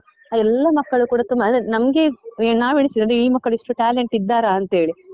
ಆ ಎಲ್ಲ ಮಕ್ಕಳು ಕೂಡ ತುಂಬ ಅಂದ್ರೆ ನಮ್ಗೆ ನಾವ್ ಎಣಿಸಿದ್ದು ಅಂದ್ರೆ ಈ ಮಕ್ಕಳು ಇಷ್ಟು talent ಇದ್ದಾರಾ ಅಂತ ಹೇಳಿ.